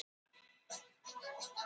Þau valda ekki vandamálinu